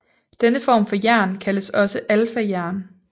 Denne form for jern kaldes også alfajern